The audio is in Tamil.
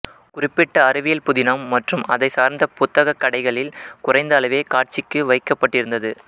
குறிப்பிட்ட அறிவியல்புதினம் மற்றும் அதைச் சார்ந்த புத்தகக் கடைகளில் குறைந்த அளவே காட்சிக்கு வைக்கப்பட்டிருந்தது